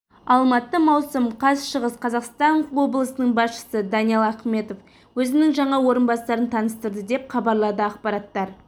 алматы маусым қаз шығыс қазақстан облысының басшысы даниал ахметов өзінің жаңа орынбасарын таныстырды деп хабарлады ақпараттар